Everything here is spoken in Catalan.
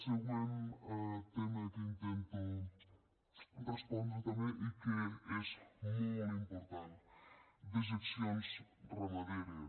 següent tema que intento respondre també i que és molt important dejeccions ramaderes